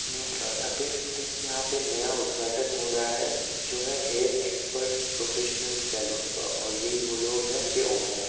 नमस्कार आप देख सकते है कि यहाँ पे नया उद्घाटन हो रहा है जो है हेयर एक्सपर्ट प्रोफेशनल सलून का और यह ही वह लोग है इसके ओनर है।